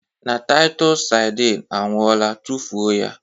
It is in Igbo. Na Taịtọs sardine anwụọla tufuo ya